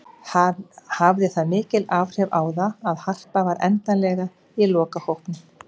Hafði það mikil áhrif á það að Harpa var endanlega í lokahópnum?